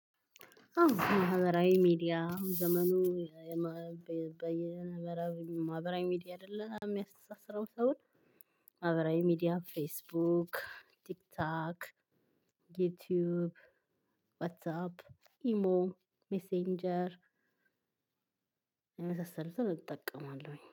አዎ ማህበራዊ ሚዲያ ዘመኑ በየ ማህበራዊ ሚዲያ አይደለም የሚያስተሳስረው ሰውን ማህበራዊ ሚዲያ ፌስቡክ ቲክቶክ ዩቲዩብ ዋትስ አፕ ኢሞ ሜሴንጀር። የመሳሰሉትን እጠቀማለሁኝ